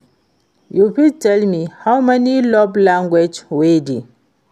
you fit tell me how many love language wey dey?